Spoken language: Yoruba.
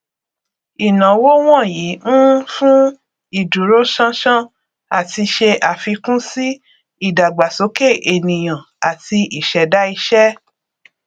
ìnáwó wọnyí ń fún ìdúróṣánṣán àti ṣe àfikún sí ìdàgbàsókè ènìyàn àti ìṣẹdá iṣẹ